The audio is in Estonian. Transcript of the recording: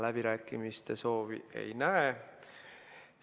Läbirääkimiste soovi ma ei näe.